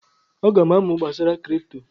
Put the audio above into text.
Aga m amụ gbasara kripto.